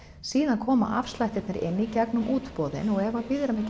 síðan koma afslættirnir inn í gegnum útboðin og ef að við erum ekki